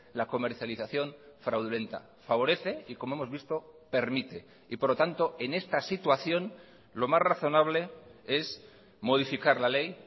la comercialización fraudulenta favorece y como hemos visto permite y por lo tanto en esta situación lo más razonable es modificar la ley